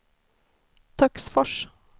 Töcksfors